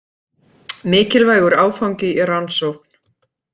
Mikilvægur áfangi í rannsókn